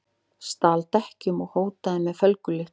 Stal dekkjum og hótaði með felgulykli